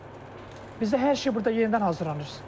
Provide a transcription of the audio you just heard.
Bizdə hər şey burda yenidən hazırlanır.